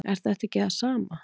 Er þetta ekki það sama?